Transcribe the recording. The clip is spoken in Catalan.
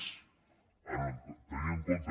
més tenint en compte